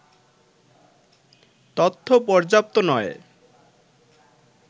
তথ্য পর্যাপ্ত নয়